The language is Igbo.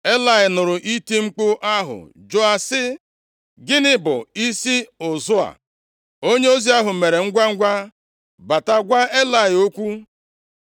Elayị nụrụ iti mkpu ahụ jụọ sị, “Gịnị bụ isi ụzụ a?” Onyeozi ahụ mere ngwangwa bata gwa Elayị okwu.